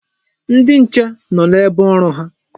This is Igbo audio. Ndi nche nọ n'ebe ọrụ ha.